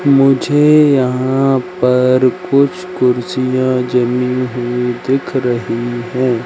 मुझे यहां पर कुछ कुर्सियां जमी हुई दिख रही हैं।